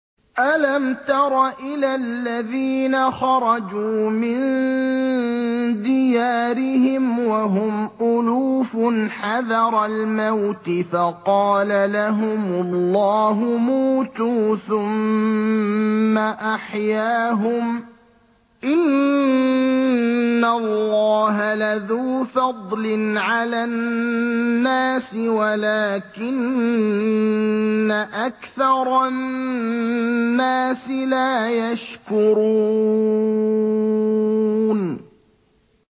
۞ أَلَمْ تَرَ إِلَى الَّذِينَ خَرَجُوا مِن دِيَارِهِمْ وَهُمْ أُلُوفٌ حَذَرَ الْمَوْتِ فَقَالَ لَهُمُ اللَّهُ مُوتُوا ثُمَّ أَحْيَاهُمْ ۚ إِنَّ اللَّهَ لَذُو فَضْلٍ عَلَى النَّاسِ وَلَٰكِنَّ أَكْثَرَ النَّاسِ لَا يَشْكُرُونَ